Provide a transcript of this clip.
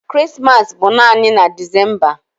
Krismas bụ naanị na Decemba